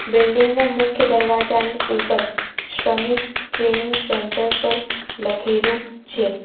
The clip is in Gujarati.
બિલ્ડીંગ ના મુખ્ય દરવાજાની ઉપર શ્રમિક ટ્રેનિંગ સેન્ટર પર લખેલું છે.